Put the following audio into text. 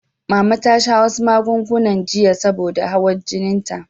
Mama ta sha wasu magunguna jiya saboda hawar jininta.